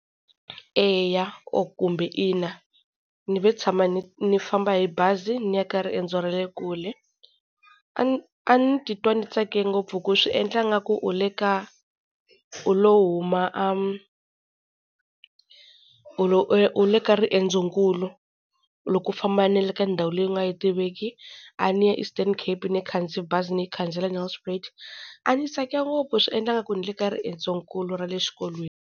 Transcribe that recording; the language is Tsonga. Eya or kumbe ina. Ni ve tshama ni ni famba hi bazi ni ya ka riendzo ra le kule. A a ni titwa ni tsake ngopfu hi ku swi endla ingaku u le ka u lo huma a, u lo u le ka riendzo nkulu loko u famba na le ka ndhawu leyi u nga yi tiveki, a ni ya Eastern Cape, ni khandziye bazi ni yi khandziyela Nelspruit a ni tsake ngopfu swi endla nga ku ni le ka riendzo nkulu ra le xikolweni.